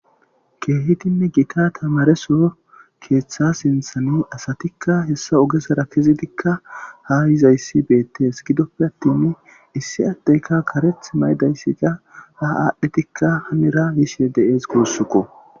keehidinne gita tamaresoo keeththa sinthani asatikka hessa ogesara kezitikka ha yizayssi beettes gidoppe attin issi addeyka kareth maydayssika ha aadhdhidikka hanira yiishe de'ees guussuko